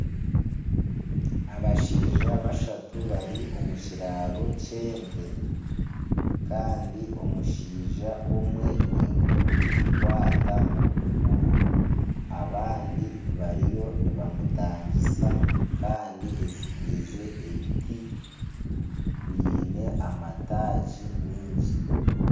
Abashaija bashatu bari omu kiraaro ky'ente kandi omushaija omwe ninka orikugikwata okuguru. Abandi bariyo nibamutangisa kandi ezitiize ebiti byine amataagi mingi.